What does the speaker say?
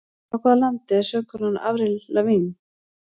Frá hvaða landi er söngkonan Avril Lavigne?